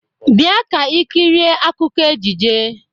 Bia ka ikirie akụkọ ejije!